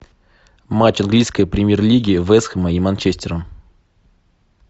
матч английской премьер лиги вест хэма и манчестера